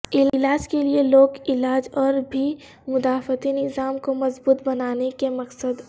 علاج کے لیے لوک علاج اور بھی مدافعتی نظام کو مضبوط بنانے کے مقصد